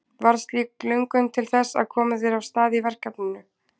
Varð slík löngun til þess að koma þér af stað í verkefninu?